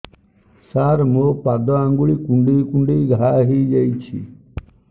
ସାର ମୋ ପାଦ ଆଙ୍ଗୁଳି କୁଣ୍ଡେଇ କୁଣ୍ଡେଇ ଘା ହେଇଯାଇଛି